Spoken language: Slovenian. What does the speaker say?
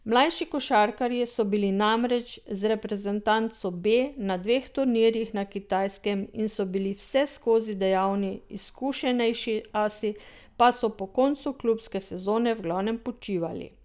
Mlajši košarkarji so bili namreč z reprezentanco B na dveh turnirjih na Kitajskem in so bili vseskozi dejavni, izkušenejši asi pa so po koncu klubske sezone v glavnem počivali.